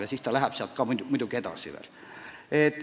Ja protsess jätkub muidugi ka pärast seda.